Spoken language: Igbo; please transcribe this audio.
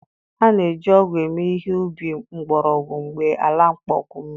A na-eji ọgụ eme ihe ubi mgbọrọgwụ mgbe ala akpọnwụwo mmiri.